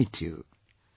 I invite you